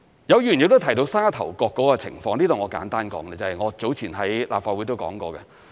有議員亦提到沙頭角的情況，我在這裏簡單說，我早前在立法會亦曾說過。